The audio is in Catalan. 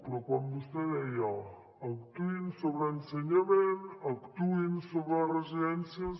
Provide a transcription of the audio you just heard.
però quan vostè deia actuïn sobre ensenyament actuïn sobre residències